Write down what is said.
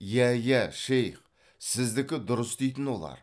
иә иә шейх сіздікі дұрыс дейтін олар